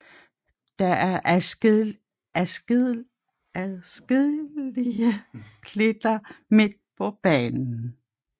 Der er adskillige klitter midt på banen